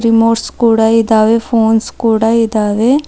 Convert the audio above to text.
Remotes ಕೂಡ ಇದಾವೆ phones ಕೂಡ ಇದಾವೆ.